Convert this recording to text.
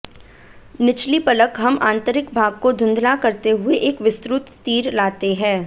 निचली पलक हम आंतरिक भाग को धुंधला करते हुए एक विस्तृत तीर लाते हैं